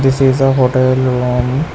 This is a hotel room.